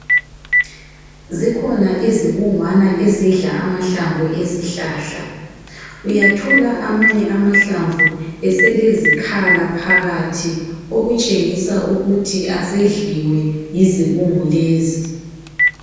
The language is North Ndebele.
Zikhona izibungwana ezidla amahlamvu ezihlahla. Uyathola amanye amahlamvu eselezikhala phakathi okutshengisa ukuthi asedliwe yizibungu lezi.